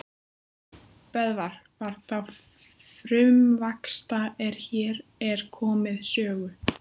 Böðvar var þá frumvaxta er hér er komið sögu.